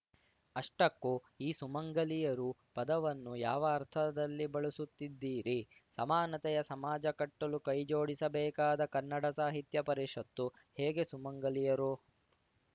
ಅಷ್ಟಕ್ಕೂ ಈ ಸುಮಂಗಲಿಯರು ಪದವನ್ನು ಯಾವ ಅರ್ಥದಲ್ಲಿ ಬಳಸುತ್ತಿದ್ದೀರಿ ಸಮಾನತೆಯ ಸಮಾಜ ಕಟ್ಟಲು ಕೈಜೋಡಿಸಬೇಕಾದ ಕನ್ನಡ ಸಾಹಿತ್ಯ ಪರಿಷತ್ತು ಹೇಗೆ ಸುಮಂಗಲಿಯರು